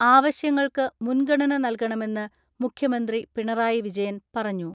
ആവശ്യങ്ങൾക്ക് മുൻഗണന നൽകണമെന്ന് മുഖ്യമന്ത്രി പിണറായി വിജയൻ പറഞ്ഞു.